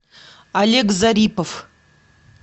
олег зарипов